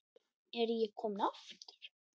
Er ég kominn aftur?